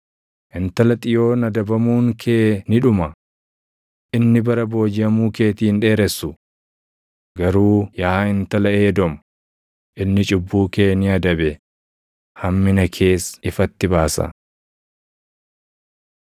Intala Xiyoon adabamuun kee ni dhuma; inni bara boojiʼamuu keetii hin dheeressu. Garuu yaa Intala Edoom, inni cubbuu kee ni adabe; hammina kees ifatti baasa.